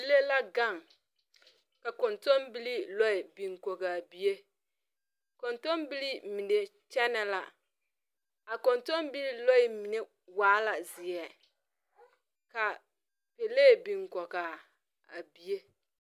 Bibile la gang ka kɔntunbilii lɔɛ bing kɔg a bie kɔntunbilii mene kyene la kɔntunbilii lɔɛ mene waa la zeɛ ka pɛlee bing kɔgaa bie.